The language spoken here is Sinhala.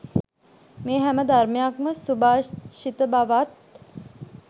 මේ හැම ධර්මයක්ම සුභාෂිත බවත්